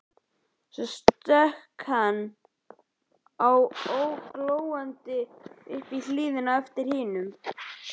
Svo stökk hann gólandi upp í hlíðina á eftir hinum.